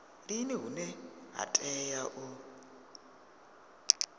lini hune ha tea u